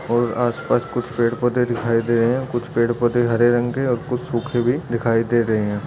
और आसपास कुछ पेड़-पौधे दिखाई दे रहे हैं कुछ पेड़-पौधे हरे रंग के और कुछ सूखे हुए दिखाई दे रहे हैं।